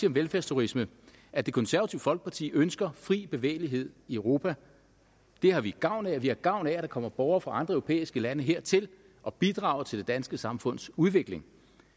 om velfærdsturisme at det konservative folkeparti ønsker fri bevægelighed i europa det har vi gavn af og vi har gavn af at der kommer borgere fra andre europæiske lande hertil og bidrager til det danske samfunds udvikling